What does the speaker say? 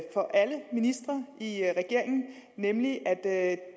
for alle ministre i regeringen nemlig at